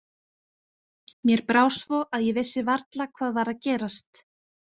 Mér brá svo að ég vissi varla hvað var að gerast.